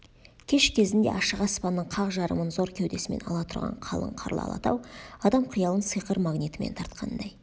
кеш кезінде ашық аспанның қақ жарымын зор кеудесімен ала тұрған қалың қарлы алатау адам қиялын сиқыр магнитімен тартқандай